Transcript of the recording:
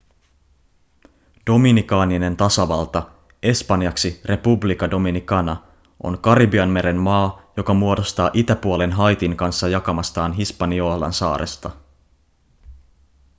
dominikaaninen tasavalta espanjaksi república dominicana on karibianmeren maa joka muodostaa itäpuolen haitin kanssa jakamastaan hispaniolan saaresta